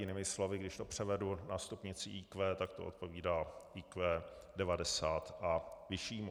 Jinými slovy, když to převedu na stupnici IQ, tak to odpovídá IQ 90 a vyššímu.